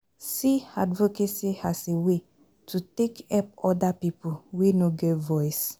See advocacy as a way to take help oda pipo wey no get voice